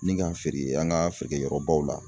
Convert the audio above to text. Ni k'an feere an ka feerekɛyɔrɔbaw la